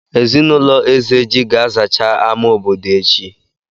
Ezinụlọ Ezeji ga-azacha àmà obodo echi?